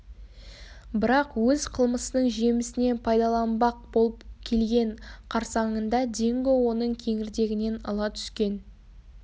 бірақ өз қылмысының жемісінен пайдаланбақ болып келген қарсаңында динго оның кеңірдегінен ала түскен